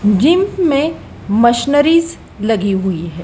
Gym में machineries लगी हुई है।